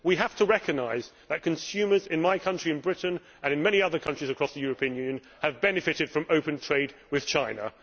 We have to recognise that consumers in my country Britain and in many other countries across the European Union, have benefited from open trade with China.